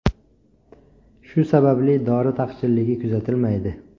Shu sababli dori taqchilligi kuzatilmaydi.